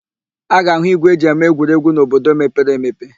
A ga-áhụ̀ ígwè e ji eme egwuregwu n'obodo mepere emepe.